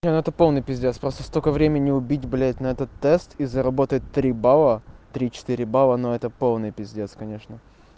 это полный пиздец просто столько времени убить блять на этот тест и заработать три балла три четыре балла но это полный пиздец конечно